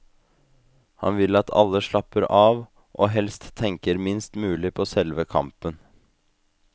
Han vil at alle slapper av, og helst tenker minst mulig på selve kampen.